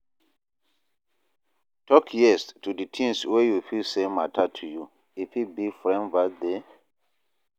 Talk yes to di things wey you feel sey matter to you, e fit be friend birthday